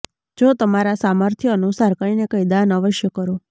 જો તમારા સામર્થ્ય અનુસાર કંઈને કંઈ દાન અવશ્ય કરો